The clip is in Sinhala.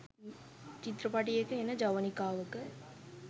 චිත්‍රපටයක එන ජවනිකාවක